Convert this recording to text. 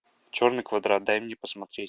черный квадрат дай мне посмотреть